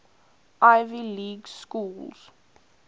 ivy league schools